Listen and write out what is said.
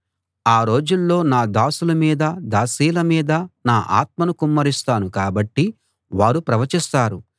ఆ రోజుల్లో నా దాసుల మీదా దాసీల మీదా నా ఆత్మను కుమ్మరిస్తాను కాబట్టి వారు ప్రవచిస్తారు